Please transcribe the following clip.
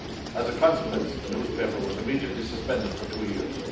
As a consequence, the newspaper was immediately suspended for two years.